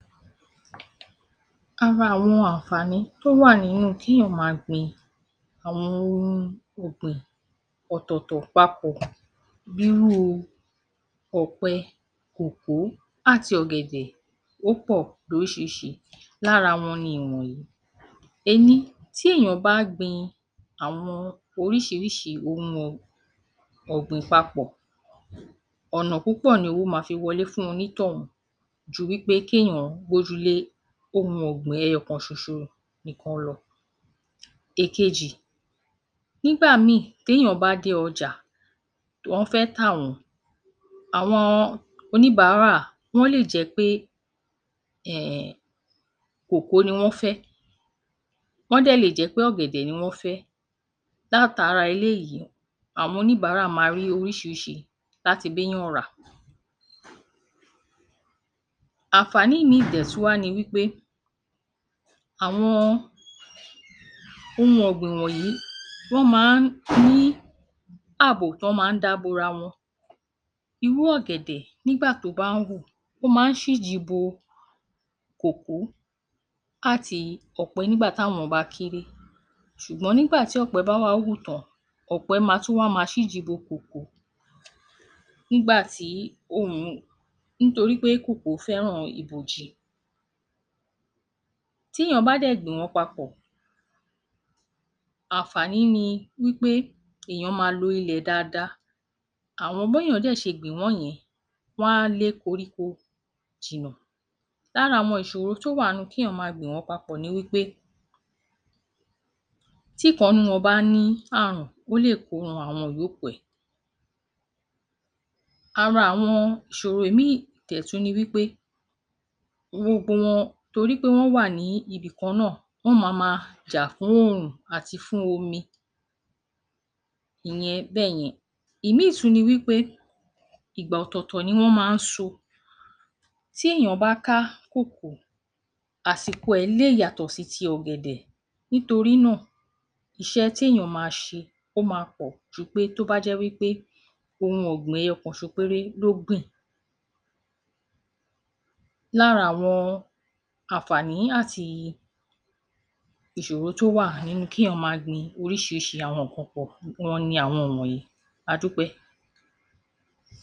Ara àwọn àǹfàní tó wà nínú kéèyàn máa gbin àwọn ohun ọ̀gbìn ọ̀tọ̀ọ̀tọ̀ papọ̀ bírúu ọ̀pẹ, kòkó àti ọ̀gẹ̀dẹ̀, ó pọ̀ lóríṣiríṣi. Lára wọn ni ìwọ̀nyí. Ení, tí èèyàn bá ń gbìn àwọn oríṣiríṣi ohun ọ̀gbìn papọ̀, ọ̀nà púpọ̀ ni owó máa fi wọlé fún onítọ̀hún ju wípé kí èèyàn gbójú lé ohun ọ̀gbìn ẹyọ kan ṣoṣo nìkan lọ. Èkejì, nígbà míì tẹ́yàn bá dé ọjà, wón fẹ́ tà wọ́n, àwọn oníbàárà, wọ́n lè jẹ́ pé um kòkó ni wọ́n fẹ́, wọ́n dẹ̀ lè jẹ́ pé ọ̀gẹ̀dẹ̀ ni wọ́n fẹ́, látara eléyìí àwọn oníbàárà máa rí oríṣiríṣi láti bẹ́yàn rà. Àǹfàní míì dẹ̀ tún wá ni wípé àwọn ohun ọ̀gbìn wọ̀nyí, wọ́n máa ń ní ààbò tán máa ń dá bora wọn, irú ọ̀gẹ̀dẹ̀ nígbà tó bá ń hù, ó máa ń ṣíji bo kòkó àti ọ̀pẹ nígbà táwọn bá kéré, ṣùgbọ́n nígbà tí ọ̀pẹ bá wá wù tán, ọ̀pẹ máa tún wá máa ṣíji bo kòkó, nígbà tí nítorí pé kòkó fẹ́ràn ibòji. Tí èèyàn bá dẹ̀ gbìn wọ́n papọ̀, àǹfàní ni wípé èèyàn máa lo ilẹ̀ dáadáa, àwọn bèèyàn dẹ̀ ṣe gbìn wọ́n yẹn, wọ́n á lé koríko jìnà. Lára àwọn ìṣòro tó wà ńnú kéèyàn máa gbìn wọ́n papọ̀ ni wípé tíkan nínú wọn bá ní àrùn, ó lè ko ran àwọn yòókù ẹ. Ara àwọn ìṣòro míì dẹ̀ tún ní wípe, gbogbo wọn torí pé wọn wá ní íbi kan náà, wọ́n ma máa jà fóòrùn àti fún omi, ìyẹn bẹ́yẹn. Ìmíì tún ni wípé ìgbà ọ̀tòọ̀tọ̀ ni wọ́n máa ń sọ, tí èèyàn bá ká kòkó, àsìkò ẹ̀ lè yàtọ̀ sí ti ọ̀gẹ̀dẹ̀, nítorí náà iṣẹ́ tí èèyàn máa ṣe, ó máa pò ju pé tó bá jẹ́ wípé ohun ogbin ẹyọ kan-sọ péré ló gbìn. Lára àwọn àǹfàní àti ìṣòro tó wà nínú kí èèyàn máa gbìn oríṣiríṣi àwọn nǹkan pọ̀ wọn ni àwọn wọ̀nyí. A dúpẹ́.